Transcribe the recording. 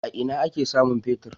A ina ake samun fetir?